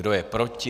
Kdo je proti?